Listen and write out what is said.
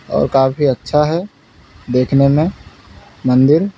और काफी अच्छा है देखने में मंदिर।